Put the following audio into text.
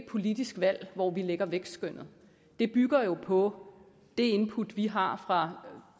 politisk valg hvor vi lægger vækstskønnet det bygger på det input vi har fra